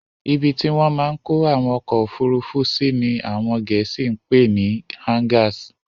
Ibi tí wọ́n máa n kó àwọn ọkọ̀ ofurufu sí ní àwọn gẹ̀ẹ́sì pè ni "Hangars"